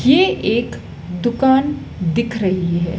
ये एक दुकान दिख रही है।